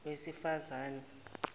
wesifazane